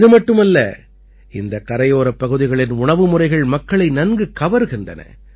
இது மட்டுமல்ல இந்தக் கரையோரப் பகுதிகளின் உணவு முறைகள் மக்களை நன்கு கவர்கின்றன